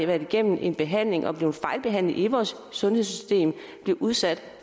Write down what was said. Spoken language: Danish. været igennem en behandling og er blevet fejlbehandlet i vores sundhedssystem bliver udsat